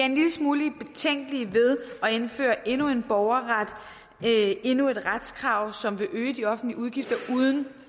en lille smule betænkelige ved at indføre endnu en borgerret endnu et retskrav som vil øge de offentlige udgifter uden